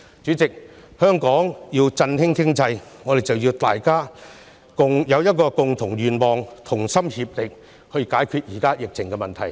主席，為了振興香港經濟，我們必須目標一致，同心協力解決當前疫情的問題。